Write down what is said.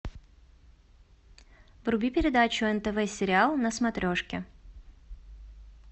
вруби передачу нтв сериал на смотрешке